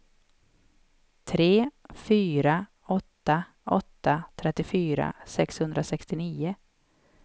tre fyra åtta åtta trettiofyra sexhundrasextionio